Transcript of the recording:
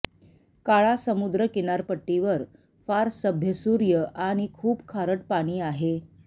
काळा समुद्र किनारपट्टी वर फार सभ्य सूर्य आणि खूप खारट पाणी आहे